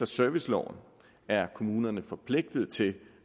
serviceloven er kommunerne forpligtet til